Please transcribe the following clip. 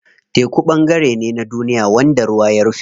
Teku ɓangare ne na duniya wanda ruwa ya rufe.